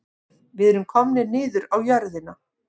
Við erum komnir niður á jörðina